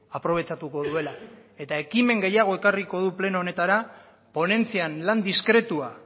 aprobetxatuko duela eta ekimen gehiago ekarriko du pleno honetara ponentzian lan diskretua